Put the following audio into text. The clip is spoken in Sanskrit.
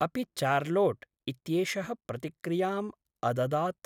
अपि चार्लॉट् इत्येषः प्रतिक्रियाम् अददात्?